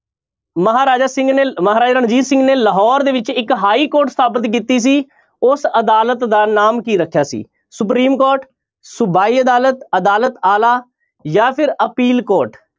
ਮਹਾਰਾਜਾ ਸਿੰਘ ਨੇ ਮਹਾਰਾਜਾ ਰਣਜੀਤ ਸਿੰਘ ਨੇ ਲਾਹੌਰ ਦੇ ਵਿੱਚ ਇੱਕ ਹਾਈਕੋਰਟ ਸਥਾਪਿਤ ਕੀਤੀ ਸੀ ਉਸ ਅਦਾਲਤ ਦਾ ਨਾਮ ਕੀ ਰੱਖਿਆ ਸੀ ਸੁਪਰੀਮ ਕੋਰਟ, ਸੁਬਾਈ ਅਦਾਲਤ, ਅਦਾਲਾਤ ਆਲਾ, ਜਾਂ ਫਿਰ ਅਪੀਲ ਕੋਰਟ।